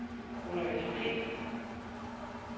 universitetet